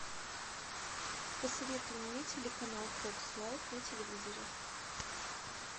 посоветуй мне телеканал фокс лайф на телевизоре